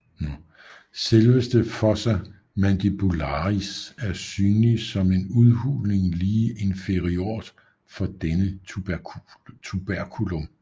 Selveste fossa mandibularis er synlig som en en udhulning lige inferiort for denne tuberculum